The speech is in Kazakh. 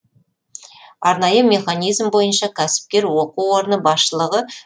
арнайы механизм бойынша кәсіпкер оқу орны басшылығы